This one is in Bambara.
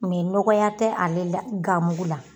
Mɛ nɔgɔya te ale la ganmugu la